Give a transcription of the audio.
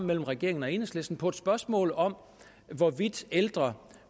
mellem regeringen og enhedslisten på et spørgsmål om hvorvidt ældre